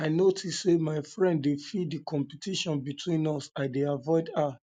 i notice say um my friend dey feel di competition between us i dey avoid her um